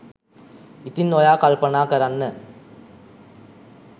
ඉතින් ඔයා කල්පනා කරන්න